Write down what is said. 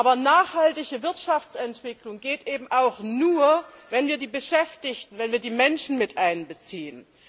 Aber nachhaltige Wirtschaftsentwicklung geht eben auch nur, wenn wir die Beschäftigten, wenn wir die Menschen miteinbeziehen.